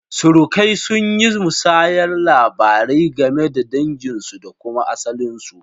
Surukai sun yi musayar labarai game da danginsu da kuma asalinsu.